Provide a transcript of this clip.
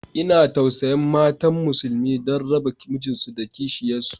Ina tausayin matan musulmi, don raba mijinsu da kishiyansu